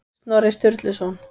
Snorri Sturluson.